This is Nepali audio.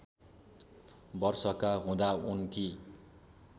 वर्षका हुँदा उनकी